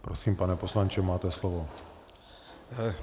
Prosím, pane poslanče, máte slovo.